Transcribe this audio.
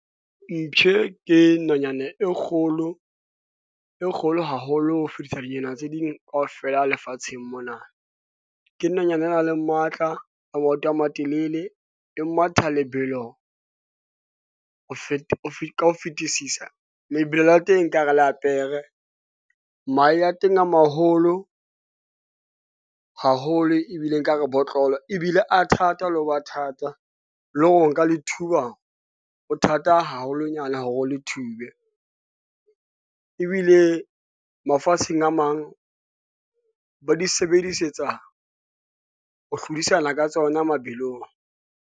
Mptjhe, ke nonyane e kgolo e kgolo haholo ho fetisa dinonyana tse ding kaofela lefatsheng mona. Ke nonyane e naleng matla ya maoto a matelele, e matha lebelo ho feta ka ho fetisisa. Lebelo la teng nkare la pere mahe a teng a maholo haholo, ebile ekare botlolo ebile a thata le ho ba thata le ho nka le thuba ho thata haholonyana ho le thube. Ebile mafatsheng a mang ba di sebedisetsa ho hlodisana ka tsona mabelong.